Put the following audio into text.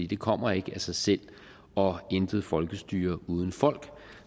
det kommer ikke af sig selv og intet folkestyre uden folk